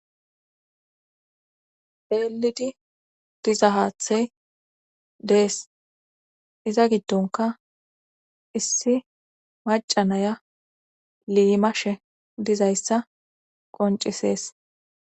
eelidi diza haathey dees iza giddonka issi macanaya limashe dizayssa qoncisees